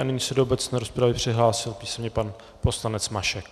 A nyní se do obecné rozpravy přihlásil písemně pan poslanec Mašek.